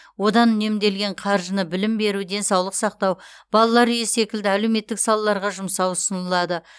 одан үнемделген қаржыны білім беру денсаулық сақтау балалар үйі секілді әлеуметтік салаларға жұмсау ұсынылады